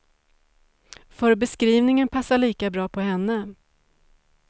För beskrivningen passar lika bra på henne.